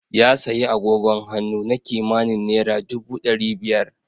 Ya siyi agogon hannu na kimanin naira dubu ɗari biyar.